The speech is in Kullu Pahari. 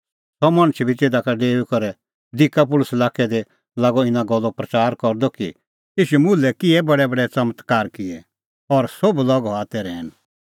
सह मणछ बी तिधा का डेऊई करै दिकापुलिस लाक्कै दी लागअ इना गल्लो प्रच़ार करदअ कि ईशू मुल्है किहै बडैबडै च़मत्कारे का किऐ और सोभ लोग हआ तै रहैन